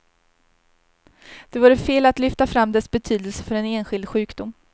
Det vore fel att lyfta fram dess betydelse för en enskild sjukdom.